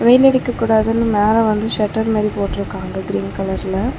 வெயில் அடிக்க கூடாதுன்னு மேல வந்து ஷட்டர் மாரி போட்ருக்காங்க கிரீன் கலர்ல .